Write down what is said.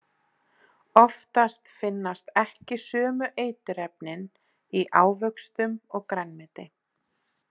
Oftast finnast ekki sömu eiturefnin í ávöxtum og grænmeti.